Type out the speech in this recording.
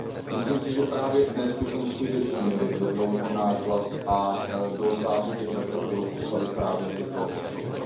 Myslím si, že právě dnes bychom skutečně měli zvednout náš hlas a do záře těch reflektorů postavit právě tyto osoby.